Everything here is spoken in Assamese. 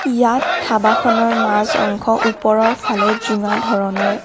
ইয়াত ধাবাখনৰ মাজ অংশ ওপৰৰ ফালে জোঙা ধৰণৰ।